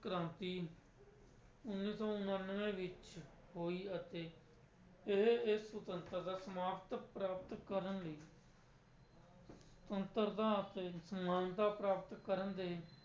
ਕ੍ਰਾਂਤੀ ਉੱਨੀ ਸੌ ਉਨਾਨਵੇਂ ਵਿੱਚ ਹੋਈ ਅਤੇ ਇਹ ਇਹ ਸੁਤੰਤਰਤਾ ਸਮਾਪਤ ਪ੍ਰਾਪਤ ਕਰਨ ਲਈ ਸੁਤੰਤਰਤਾ ਅਤੇ ਸਮਾਨਤਾ ਪ੍ਰਾਪਤ ਕਰਨ ਦੇ